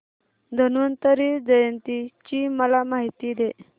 धन्वंतरी जयंती ची मला माहिती दे